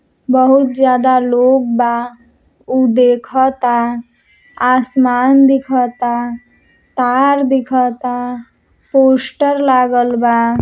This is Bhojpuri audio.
बहुत ज्यादा लोग बा। उ देखता। आसमान दिखता। तार दिखता। पोस्टर लागल बा।